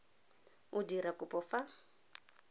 o dira kopo ka fa